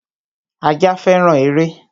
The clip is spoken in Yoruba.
Ajá féràn eré